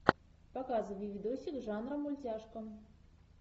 показывай видосик жанра мультяшка